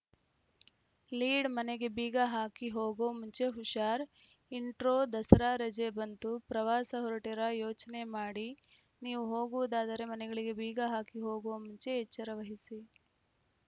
ಲೀಡ್‌ಮನೆಗೆ ಬೀಗ ಹಾಕಿ ಹೋಗೋ ಮುಂಚೆ ಹುಷಾರ್‌ ಇಂಟ್ರೋ ದಸರಾ ರಜೆ ಬಂತು ಪ್ರವಾಸ ಹೊರಟಿರಾ ಯೋಚನೆ ಮಾಡಿ ನೀವು ಹೋಗುವುದಾದರೆ ಮನೆಗಳಿಗೆ ಬೀಗ ಹಾಕಿ ಹೋಗುವ ಮುಂಚೆ ಎಚ್ಚರವಹಿಸಿ